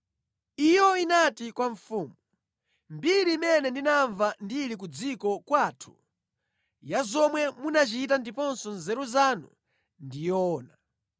Iyo inati kwa mfumu, “Mbiri imene ndinamva ndili ku dziko kwathu, ya zomwe munachita komanso nzeru zanu ndi yoona.